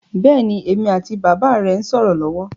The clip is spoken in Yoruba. Bẹ́ẹ̀ni, èmi àti bàbà rẹ ń sọ̀rọ̀ lọ́wọ́